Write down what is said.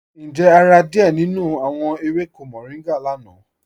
Ǹjẹ́ o rà díẹ̀ nínú awọn èwékò mòrìngá lána?